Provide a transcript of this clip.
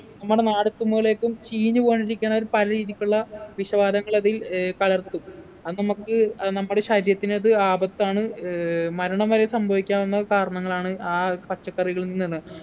നമ്മുടെ നാടെത്തുമ്പോലേക്കും ചീഞ്ഞുപോകാണ്ടിരിക്കാൻ അവര് പല രീതിക്കുള്ള വിഷവാതകങ്ങൾ അതിൽ ഏർ കലർത്തും അത് നമുക്ക് അത് നമ്മുടെ ശരീരത്തിന് അത് ആപത്താണ് ഏർ മരണം വരെ സംഭവിക്കാവുന്ന കാരണങ്ങളാണ് ആ പച്ചക്കറികളിൽ നിന്ന്